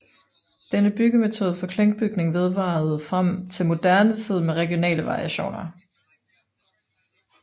Denne byggemetode for klinkbygning vedvarede frem til moderne tid med regionale variationer